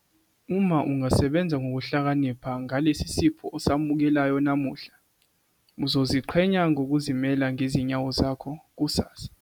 Uma ungasebenza ngokuhlakanipha ngalesi sipho osamukelayo namuhla, uzoziqhenya ngokuzimela ngezinyawo zakho kusasa.